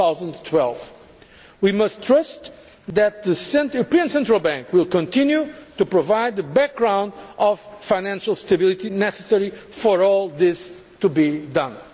mid 2012. We must trust that the European Central Bank will continue to provide the background of financial stability needed for all this to be